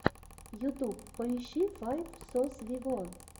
ютуб поищи файв сос виво